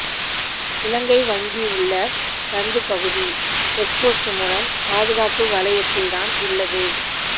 இலங்கை வங்கி உள்ள சந்து பகுதி செக்போஸ்டு மூலம் பாதுகாப்பு வளையத்தில்தான் உள்ளது